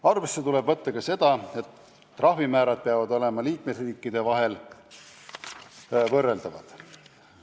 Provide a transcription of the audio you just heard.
Arvesse tuleb võtta ka seda, et trahvimäärad peavad olema liikmesriikide vahel võrreldavad.